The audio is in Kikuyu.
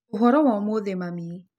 Ũhoro wa ũmũthĩ mami